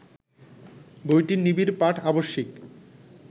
বইটির নিবিড় পাঠ আবশ্যিক